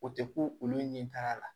O tɛ ko olu ɲɛtaga la